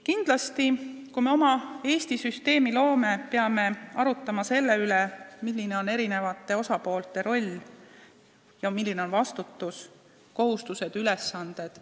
Kindlasti, kui me Eestis oma süsteemi loome, peame arutlema selle üle, milline on eri osapoolte roll ja millised on nende vastutus, kohustused ja ülesanded.